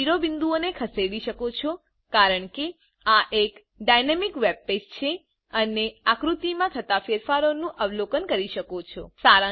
તમે શીરો બિંદુને ખસેડી શકો છો કારણકે આ એક ડાયનામિક વેબ પેજ છે અને આકૃતિમા થતા ફેરફારોનું અવલોકન કરી શકો છો